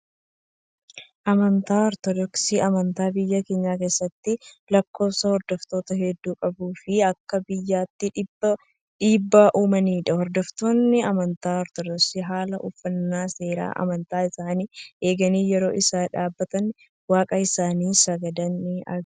Amantaan Ortodoksii, amantaa biyya keenya keessatti lakkoofsaan hordoftoota hedduu qabuu fi akka biyyaatti dhiibbaa uumanidha. Hordoftoonni amantaa Ortodoksii haala uffannaa seera amantaa isaanii eeganii yeroo isaan dhaabbatanii waaqa isaanii sagadan ni argamu.